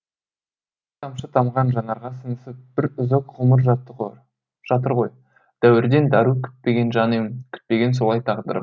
тамшы тамған жанарға сіңісіп бір үзік ғұмыр жатыр ғой дәуірден дәру күтпеген жан ем күтпеген солай тағдырым